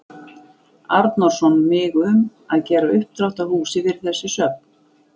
Arnórsson mig um, að gera uppdrátt að húsi fyrir þessi söfn.